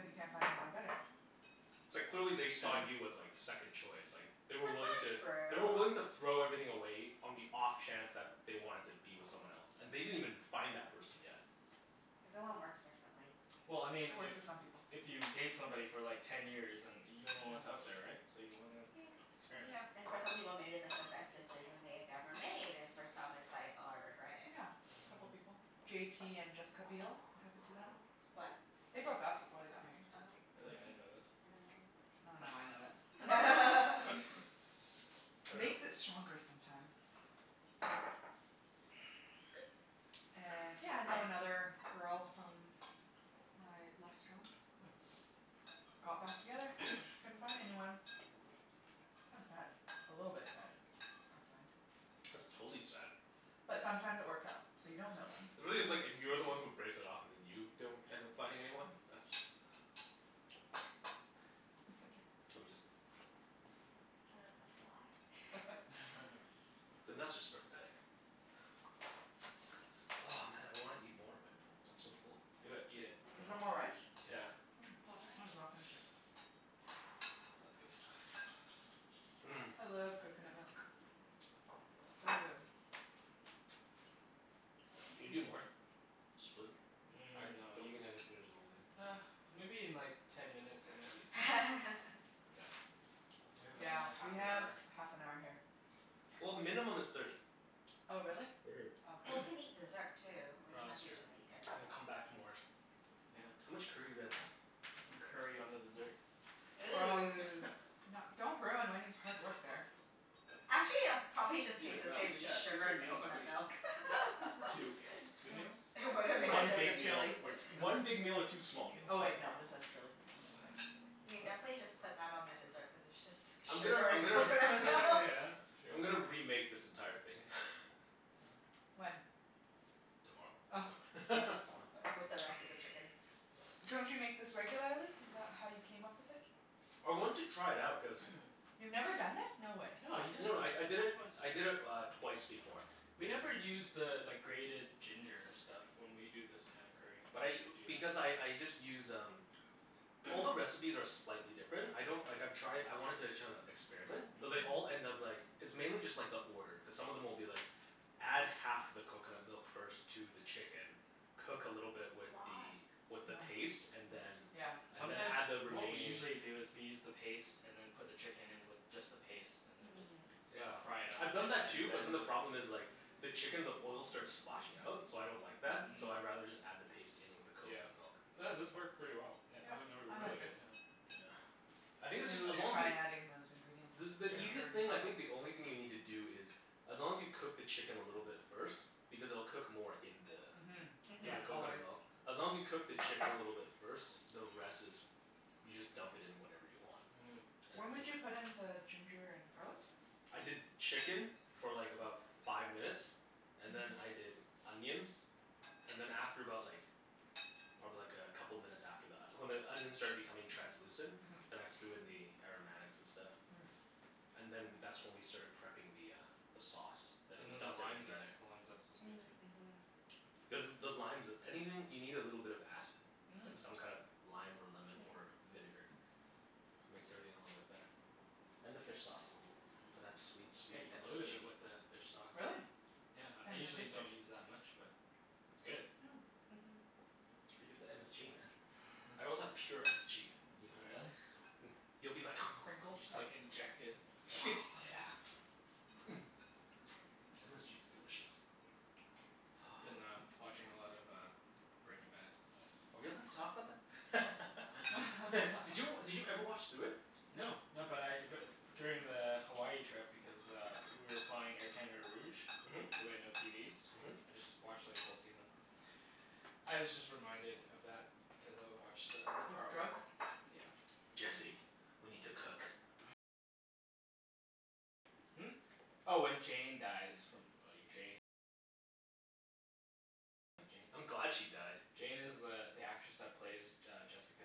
you can't find anyone better. It's like clearly they saw you as like second choice, like They That's were wiling not to They were willing true. to throw everything away on the off chance that they wanted to be with someone else. And they didn't even find that person yet. Everyone works differently. Well, I mean It if works for some people. if you date somebody for like ten years and you Yeah. don't know what's out there, right? So you wanna experiment. Yep. And for some people maybe it's like the best decision they had ever made and for some it's like, "Oh, I regret it." Yeah, a couple Mhm. people. J t and Jessica Biel. It happened to them. They broke up before they got married. Oh. Really? I Mhm. didn't know this. I dunno why I know that. I dunno. Makes it stronger sometimes. And yeah, I know another girl from my last job. Got back together. Couldn't find anyone. Hmm. Kinda sad. A little bit sad. I find. That's totally sad. But sometimes it works out. So you don't know then. Really it's like, if you're the one who breaks it off and then you don't end up finding anyone? That's Let me just Thought it was a fly. then that's just pathetic. Oh man, I wanna eat more but I'm so full. Do it. Eat it. Is No. there more rice? Yeah. Yeah. Mm, More might as well rice. finish it. That's good stuff. Mmm. I love coconut milk. So good. Can you do more? Split? I Mm, no don't you, think I can finish the whole thing. ah, maybe in like ten minutes I might eat something. We have Yeah, another half we an have hour. half an hour here. Yeah. Well, minimum is thirty. Oh, really? Mhm. Oh, okay. Well, we can eat dessert, too. We No, don't have that's to true. just eat dinner. And then come back to more. Yeah. How much curry do we have left? Put some curry on the dessert. Gross. Ooh. No, don't ruin Wenny's hard work there. That's, Actually it'll probably Decent just taste the meal. same. It's yeah, just two, sugar three and meals at coconut least. milk. Yep. Two meals. Two Yeah. meals? It wouldn't Well, make a one Minus the big difference. meal, chili. or one big meal or two small Oh meals. wait, no, this has chili. What am I saying? You can What? definitely just put that on the dessert cuz it's just I'm gonna sugar I'm and gonna coconut milk. Yeah, true. I'm gonna remake this entire thing. When? Tomorrow. Oh. No. With the rest of the chicken. Don't you make this regularly? Is that how you came up with it? I wanted to try it out cuz You've never done this? No way. No, you did it, No no, I I you did did it, it twice. I did it uh twice before. We never use the like grated ginger stuff when we do this kinda curry. But I, Do because that. I I just use um All the recipes are slightly different. I don't, like I've tried, I wanted to kinda experiment. But they all Mhm. Mhm. end up like It's mainly just like the order, cuz some of them will be like Add half the coconut milk first to the chicken cook a little bit with Why? the with the paste and then Yeah. Yeah. and then Mm. Sometimes, add the what we remaining usually do is we use the paste and then put the chicken in with just the paste and then just Mm. Yeah, fry it up a I've bit done that and too but then then the the problem is like the chicken, the oil starts splashing out. So I don't like that. Mm. So Mhm. I'd rather just add the paste in with the Yeah. coconut milk. But this Hmm. worked pretty well, yeah Yep, or or I really like this. good, yeah. Yeah. I think this Maybe is, we as should long as try y- adding those ingredients. The the easiest Yeah. Ginger and thing I garlic. think, the only thing you need to do is as long as you cook the chicken a little bit first because it'll cook more in the Mhm. in Yeah, the Mhm. always. coconut milk. As long as you cook the chicken a little bit first, the rest is you just dump it in whenever you want. Mm. It's When w- would you put in the ginger and garlic? I did chicken for like about five minutes and then Mhm. I did onions. And then after about like probably like a couple minutes after that. When the onions started becoming translucent. Mhm. Then I threw in the aromatics and stuff. Mm. And then w- that's when we started prepping the uh the sauce. And then And we then the dumped lime everything in there. zest. The lime zest was good, too. Mm. Mhm. Cuz the limes is, anything, you need a little bit of acid. Mm. Like some kind of lime or Yeah. lemon or vinegar. Makes everything a little bit better. And the fish sauce. Mhm. For that sweet, Yeah, sweet you loaded MSG. it with the fish sauce. Really? Yeah, I Can't even usually taste it. don't use that much but it's good. Mm. Mhm. That's where you get the MSG, man. I also have pure MSG if Oh, yo- really? Hmm, you'll be The like sprinkle You just stuff? like inject it. Oh yeah. MSG is delicious. Been uh watching a lot of uh Breaking Bad. Are we allowed to talk about that? I dunno. Did you, did you ever watch through it? No. No, but I but f- during the Hawaii trip because uh we were flying Air Canada Rouge Mhm. so we had no TVs. Mhm. I just watched like a whole season. I was just reminded of that because I watched the the With part where drugs? Yeah. Jesse. We need to cook. I'm glad she died. Jane is the the actress that plays J- uh, Jessica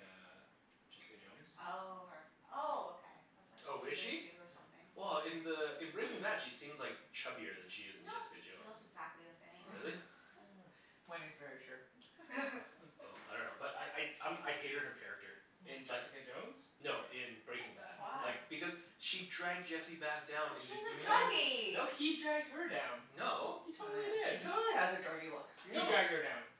Jessica Jones? Oh, her. Oh, okay. That's like Oh, is season she? two or Yeah. something. Well, in the in Breaking Bad she seems like chubbier than she is in No. Jessica She Jones. looks exactly the same. Really? Yeah. Wenny's very sure. Oh, I dunno. But I I um I hated her character. In Oh. Just, Jessica Jones, no, or in Breaking Bad. Why? Like, Oh. because she dragged Jesse back down Well into she's a doing No. meth. No, druggie. he dragged her down. No. He Oh, totally yeah. She did. totally has a druggie look. He No. dragged her down.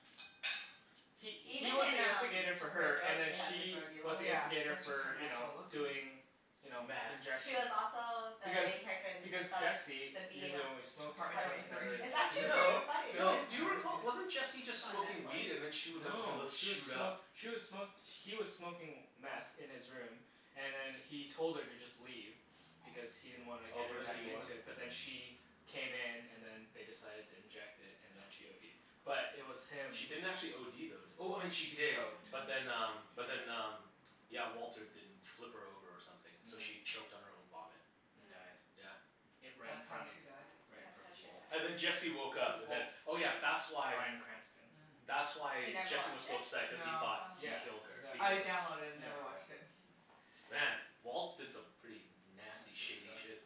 He he Even was in the um instigator for Jessica her, and Jones then she has a she druggie was look. the Yeah, instigator that's just her for you know, natural look. Mhm. doing you know, Meth. She was injection. also the Because main character in the because Jesse The B in usually Ap- only smokes it, Apartment right? Apartment twenty He's three? never Thirteen. It's injected actually it pretty before? No. funny. No. Really? Do I've you never seen recall, it. wasn't Jesse It's just on smoking weed and then Netflix. she was like, "Okay, No. let's She was shoot smo- up." she was smo- he was smoking meth in his room and then he told her to just leave. Because he didn't wanna Oh, get but her then back he wanted into it. But then she came in and then they decided to inject it, and then she ODed. But it was him She didn't actually OD though, did, oh, she She did. choked. She But then Mhm. um but did. then um yeah, Walter didn't flip her over or something, so Mhm. she choked on her own vomit. And Mm. died. Yeah. It, right in That's how front of, she died? right in That's front how of she Walt. died. And then Jesse woke Who's up and then, Walt? oh yeah, that's why Brian Cranston. Mm. that's You why never Jesse was watched so it? upset cuz he No. thought Oh. he Yeah, killed her, exactly. I because of, downloaded it and Yeah. yeah. never watched it. Mm. Man, Walt did some pretty nasty Messed shady up stuff. shit.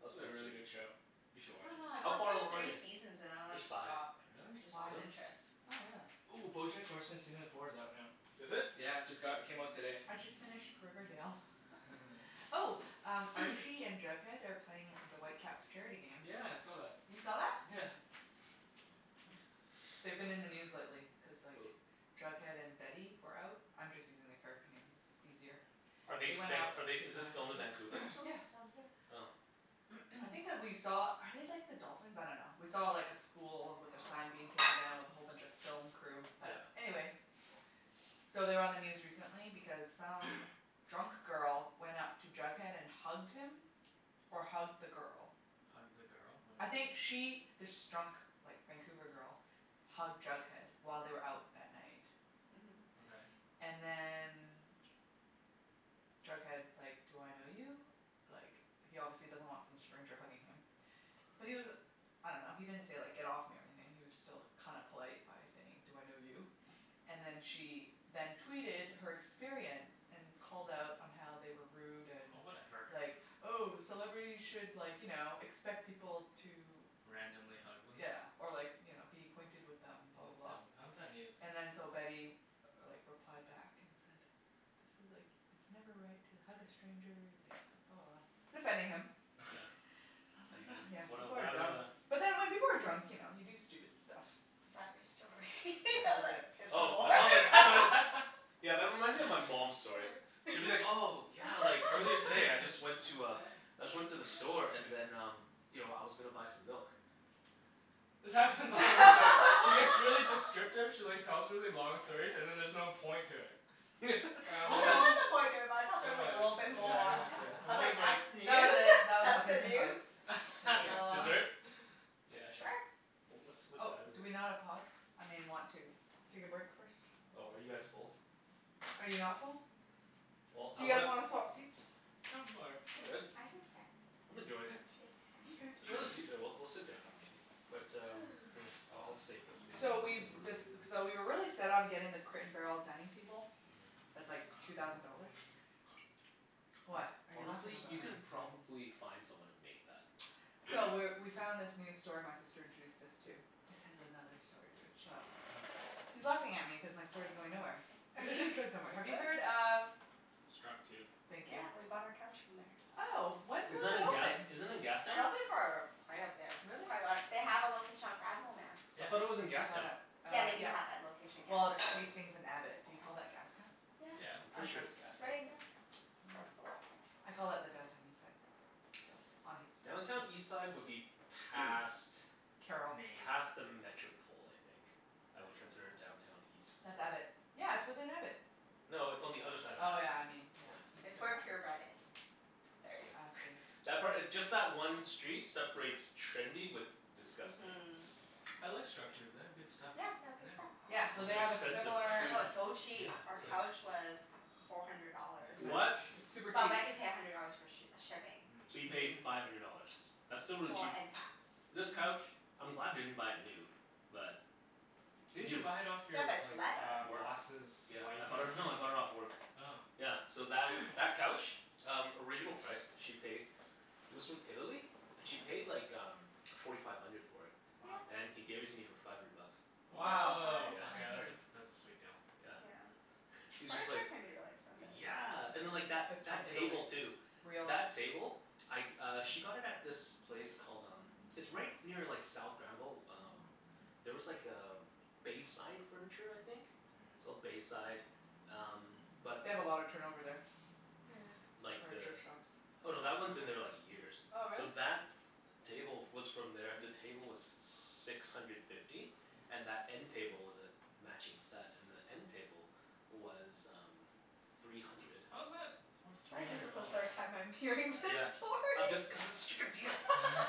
That It's was a pretty really sweet. good show. You I should watch dunno, it. I How got far through along are three you? seasons and I like There's five. stopped. Really? Just Why? lost Really? interest. Oh, really? Ooh, Bojack Horseman season four is out now. Is it? Yeah, just got, it came out today. I just finished Riverdale. Oh, Archie and Jughead are playing at the Whitecaps charity game. Yeah, I saw that. You saw that? Yeah. Yeah. They've been in the news lately cuz like Who? Jughead and Betty were out. I'm just using the character names. It's is easier. Are they They went out be- to are they, is it filmed in Vancouver, or That show, something? Yeah. it's filmed here. Oh. I think that we saw, are they like the dolphins? I dunno. We saw like a school with their sign being taken down with a whole bunch of film crew. But, Yeah. anyway So they were on the news recently because some drunk girl went up to Jughead and hugged him or hugged the girl. Hugged the girl? What I do you mean? think she this drunk like Vancouver girl hugged Jughead while they were out at night. Mhm. Okay. And then Jughead's like, "Do I know you?" Like, he obviously doesn't want some stranger hugging him. But he was I dunno, he didn't say like, "Get off me," or anything. He was still kinda polite by saying, "Do I know you?" And then she then tweeted her experience. And called out on how they were rude and Oh, whatever. like, "Oh, celebrities should like, you know, expect people to" Randomly hug them? yeah, or like you know, "be acquainted with them," blah, That's blah, dumb. blah. How is that news? And then so Betty like replied back and said "This is like, it's never right to hug a stranger," and like blah, blah, blah. Defending him. Yeah. I was And like then? huh, yeah, What el- people what are happened dumb. after that? But then when people are drunk, you know, you do stupid stuff. Is that your story? Yeah. I That was was like, it. "Is there Oh, more?" I All thought like, I thought it was right. Yeah, that reminds me of my mom's stories. She'll be like, "Oh, yeah, like earlier today I just went to a I just went to the store and then um you know, I was gonna buy some milk." This happens all the time. She gets really descriptive she like tells really long stories, and then there's no point to it. And I'm Well, always there was a point to it but I thought there There was like a was. little bit Yeah, more. exactly. Yeah. I I'm was always like, like "That's That was news? it. That was That's the Huffington news?" Post. Yeah. Thank Like, you. Oh. dessert? Yeah, sure. Sure. Oh, what what Oh, time is do it? we not a pause? I mean want to take a break first? Oh, are you guys full? Are you not full? Well, Do I you guys wanna wanna swap seats? No, I'm all right. I'm good. I can stand. I'm Actually, enjoying it. Mkay. There's I another should stand. seat there. We'll we'll sit down But um, hmm, Ooh. uh I'll save this. Maybe So I'll have we've some more later. dec- so we were really set on getting the Crate and Barrel dining table. Mhm. That's like two thousand dollars. Hone- What are you laughing honestly? about? You can probably find someone to make that. So, we're we found this new store my sister introduced us to. This has another story to it. Shut up. Okay. He's laughing at me cuz my story's going nowhere. But it is going somewhere. Have you heard of Structube. Thank you. Yeah, we bought our couch from there. Oh, when Is was that it in gas, open? is that in It's Gastown? been open for quite a bit. Really? Quite a while. They have a Yeah. location on Granville now. I thought it was Yeah. in I saw Gastown. that, Yeah, uh, they do yeah. have that location in Well, Gastown it's too. Hmm. Hastings and Abbott. Do you call that Gastown? Yeah. Yeah. Oh, Pretty sure okay. it's Gastown. Right in Gastown. Oh. I call it the Downtown Eastside, still, on Hastings. Downtown Eastside would be past Carrall. Main. past the Metropol, I think. I would consider Metropol? Downtown East- That's Abbott. Yeah, it's within Abbott. No, it's on the other side of Oh Abbott. yeah, I mean, yeah. Yeah. East It's of where that. Pure Bread is. Yeah. There ya I go. see. That part, just that one street separates trendy with disgusting. Mhm. I like Structube. They have good stuff. Yeah, they have good stuff. Yeah. Yeah, so Was they it have a expensive, similar though? No, it's so Yeah, cheap. Our it's like Really? couch was four hundred dollars. Yeah, Nice. they're What? cheap. It's super But cheap. we had to pay a hundred dollars for sh- shipping. So you Mm. paid Mhm. five hundred dollars? That's still really Well, cheap. and tax. Yeah. This couch, I'm glad I didn't buy it new. But Didn't you new buy it off Yeah, your but it's like leather. Work. boss's Yeah. I wife or bought it, no, I bought it off something? work. Oh. Yeah, so that that couch? Um, original price she paid it was from Italy and she paid like um forty five hundred for it. Wow. Yeah. And he gave it to me for five hundred bucks. Nice Wow. Woah, surprise. Yeah. Five okay that's hundred. a pr- that's a sweet deal. Yeah. Yeah. He was just like, Furniture can be really expensive. yeah and then Mhm. like that If it's from that Italy. table, too. Real. That table? I uh she got it at this place called um it's right near like South Granville. Oh there was like a Bayside Furniture, I think? It's Mm. called Bayside, um but They have a lot of turnover there. Yeah. Like the, Furniture shops. oh, no, that one's been there like years. Oh, really? So that table f- was from there. The table was six hundred fifty. And that end table was a matching set. And the end table was um three hundred. How's that worth I three think this hundred is the dollars? third time I'm hearing this Yeah. I'm story. just, cuz it's such a good deal!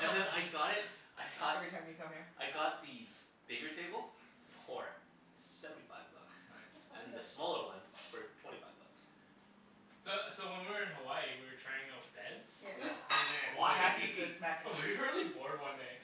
And then I got it, I got Every time you come here. I got the bigger table for seventy five bucks. It's nice. And the Nice. smaller one for twenty five bucks. So so when we were in Hawaii we were trying out beds Yeah. and then Why? Mattresses. Mattresses. We were really bored one day.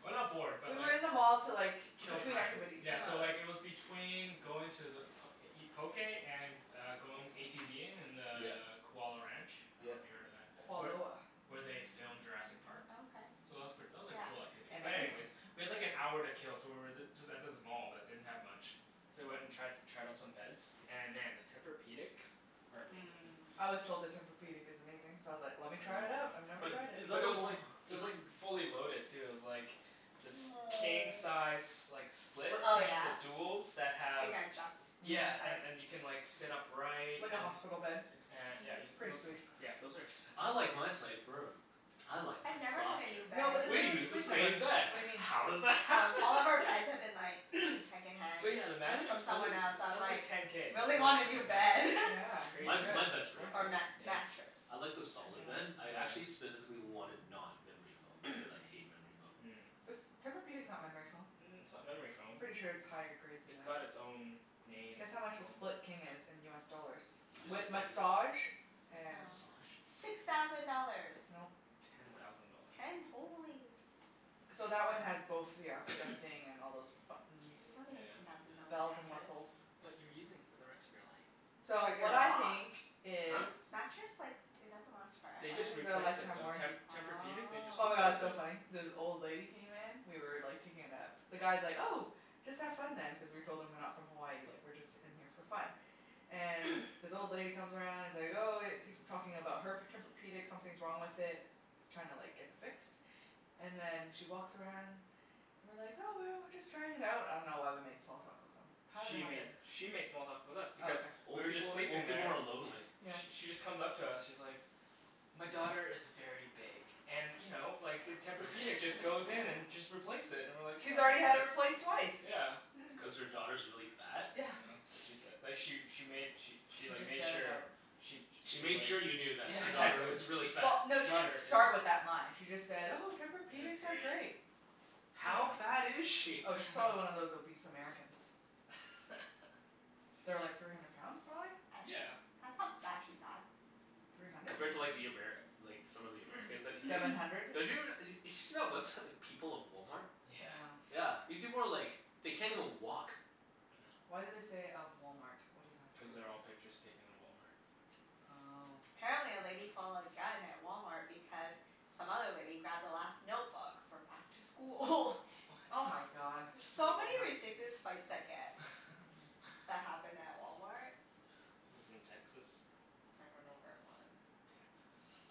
Well, not bored, but We were like in the mall to like, Kill between time. activities. Yeah, Yeah. so uh-huh. like it was between going to the p- to eat poké and uh going ATVing in the Yeah. Kualoa Ranch. I Yeah. dunno if you've heard of that? Where Kualoa. where they filmed Jurassic Park. Oh, okay. So that was pret- that was a Yeah. cool activity, And but anyways we had like an everything hour to else. kill so we were th- just at this mall that didn't have much. So we went and tri- tried out some beds. And man, the Tempur-pedics are amazing. Mmm. I was told the Tempur-pedic is amazing, so I was like, I "Let me really try want it out. one. I've never Is But tried it." is that but it the was o- like, it is was that like fully loaded, too. It was like this king size s- like split Split Oh King. the yeah? duals that So you have can adjust Mhm. each Yeah, and side. and you can like sit upright and Like a hospital bed. a- yeah Mhm. you Pretty sweet. c- those are expensive, "I like though. my side firm." "I like I've mine never had softer." a new No bed. but this We use isn't the Sleep Number. same bed. What do you mean? How does that Um, happen? all of our beds have been like second hand But yeah the Really? mattress, from holy, someone else, so that I'm was like like ten k, just really for a want a new frickin' bed. mattress. Yeah, you Crazy. My my should. bed's It's pretty worth Or it. amazing. mat- Yeah? mattress. I like the That piece. solid bed. Yeah. I actually Yeah. specifically wanted not memory foam, cuz I hate memory foam. Mm. This, Tempur-pedic's not memory foam. Mm, it's not memory foam. Pretty sure it's higher grade than It's got that. it's own named Guess how much the foam. Split King is in US dollars? He just said With ten massage and Oh. Massage? Six thousand dollars! Nope. Ten thousand dollars. Ten? Holy. So that one has both, ya know, adjusting, and all those K, buttons. you don't need Yeah. a ten thousand dollar Yeah. Bells and mattress. whistles. But you're using it for the rest of your life. So, But you're what I not. think is Huh? Mattress like, it doesn't last They This forever. just is a replaced it, lifetime though. Te- warranty. Tempur-pedic, they just Oh Oh. my god, it's replaced so funny. it. This old lady came in we were like taking a nap. The guy's like, "Oh, just have fun then" cuz we told him we're not from Hawaii. Like we're just in here for fun. And this old lady comes around and is like, "Oh," tak- talking about her p- Tempur-pedic. Something's wrong with it. She's trying like to get it fixed. And then she walks around and we're like, "Oh, well, we're just trying it out." I dunno why we made small talk with them. How did that She happen? made she made small talk with us Oh, because okay. we Old were just people, sleeping old people there are lonely. Yeah. Sh- she just comes up to us. She's like "My daughter is very big and you know, like the Tempur-pedic just goes in and just replace it." And we're like, She's "Oh, that's already had it nice." replaced twice. Yeah. Mm. Cuz her daughter's really fat? Yeah, Yeah. that's what she said. But she she made she she She like just made said it sure out she She she was made like, sure you knew that yeah, her daughter Yeah. exactly. was really fat. Well, no, she didn't Daughter is start with that line. She just said, "Oh, It's Tempur-pedics are great. great." How fat is Yeah. she? Oh, she's probably one of those obese Americans. They're like three hundred pounds, prolly? A- Yeah. that's not actually bad. Three hundred? Compared to like the Amer- like some of the Americans that you see? Seven hundred. They're us- d- did you see that website People of Walmart? Yeah. Yeah. Yeah. These people are like, they can't even walk. Why do they say, "of Walmart?" What does that have to do Cuz they're with all it? pictures taken in Walmart. Oh. Apparently a lady pulled a gun at Walmart because some other lady grabbed the last notebook for back to school. Oh my What? god. There's Stupid so many Walmart. ridiculous fights that get Mhm. that happen at Walmart. Yeah. This is in Texas? I don't know where it was.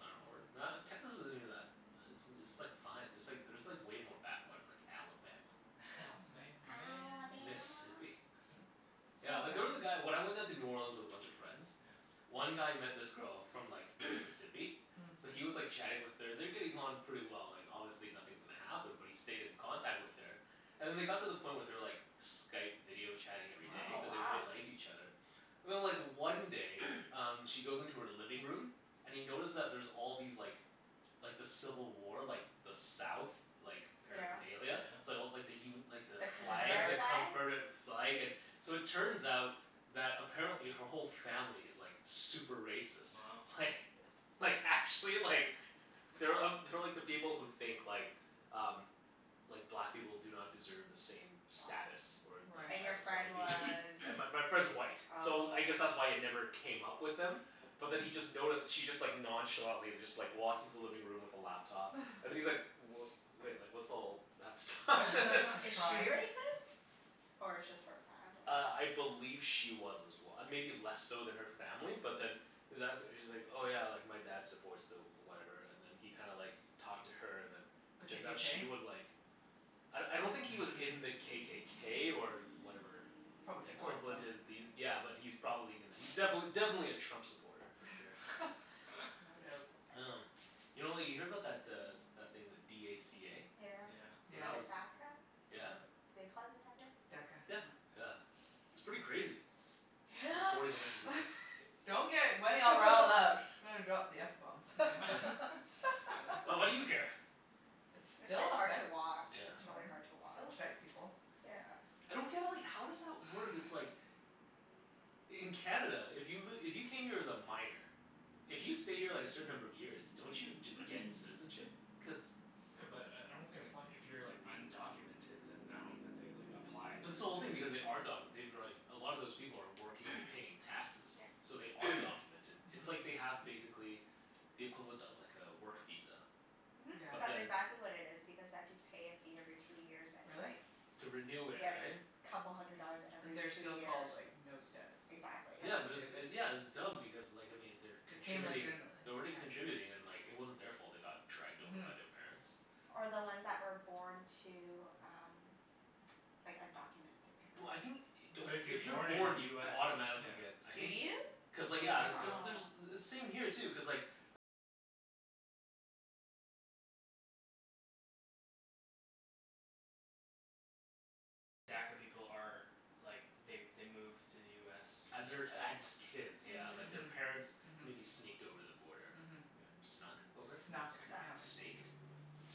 I dunno. Or not, Texas isn't even that, it's it's like fine. There's like there's like way more backwater, like Alabama. Alabama Mm. man. Alabama. Mississippi. Yeah, Small like there was towns. a guy, when I went down to New Orleans with a bunch of friends Yeah. one guy met this girl from like Mississippi. Mm. So Mm. he was like chatting with her. And they're getting on pretty well. Like, obviously nothing's gonna happen, but he stayed in contact with her. And then they got to the point where they were like Skype video chatting every day Oh, cuz they Wow. wow. really liked each other. And then like one day um she goes into her living room and he notices that there's all these like like the civil war, like the south like Yeah. Oh yeah? paraphernalia. So like the u- like the The flag, the Confederate Confederate. flag? confederate flag and So it turns out that apparently her whole family is like super racist. Wow. Like, like actually like they're uh they're like the people who think like um like black people do not deserve the same Wow. status. Or or And your as Right. friend white was people. And my my friend's white, so Oh. I guess that's why it never came up with them but then he just noticed she just like nonchalantly just like walked into the living room with the laptop and he's like, "W- wait, like what's all that stuff?" A Is she shrine. racist? Or it's just her family? Uh, I believe she was as well. Maybe less so than her family but then he was as- she's like, "Oh yeah, like my dad supports the whatever," and then he kinda like talked to her and then The turns out KKK? she was like I I don't think he was in the KKK or whatever Probably supports them. equivalent is these, yeah but he's probably gonna, he's defin- definitely a Trump supporter, for sure. No doubt. Um, you know like you hear about that uh that thing, the d a c a? Yeah, Yeah. But Yeah. the that DACA? was, yeah. Was it, do they call it DACA? DACA, Yeah. yeah. Yeah. It's pretty crazy. Yep. Deporting a bunch of people. Don't get Wenny all riled up. She's gonna drop the f bomb soon. Well, what do you care? It It's still just hard to affects, watch. I Yeah. It's really dunno. hard to It still watch. affects people. Yeah. I don't get like, how does that work? It's like In Canada, if you've li- if you came here as a minor if you stay here like a certain number of years, don't you just get citizenship? Cuz Yeah, but I I You don't have to think if apply. if you're like undocumented then I don't think they like applied Mhm. or But this whole thing, anything. because they are documented. They've been like, a lot of those people are working, they're paying taxes. Yeah. So they are documented. It's like Mhm. they have, basically the equivalent of like a work visa. Mhm. Yeah. But That's then exactly what it is because they have to pay a fee every two years and Really? like To renew it, Yeah, it's like right? couple hundred dollars Mm. And every they're two still years. called, like, no status. Exactly. Yeah That's but it's stupid. it, yeah it's dumb because like I mean, they're They came contributing legitimately. they're already contributing and like it wasn't their fault they got dragged over Mhm. by their parents. Or the Mm. ones that were born to um like undocumented No, I think, parents. don't, But if you're if you're born in born you US don't y- automatically get yeah. I Do think you? I cuz like would yeah. think Cuz so. Oh. there's, same here too, cuz like As their, as kids, yeah. Like, Hmm. their Yeah. Mhm. parents maybe Mhm. sneaked over the border. Mhm. Yeah. Snuck over? Snuck. Snuck, Snuck. yeah. Snaked?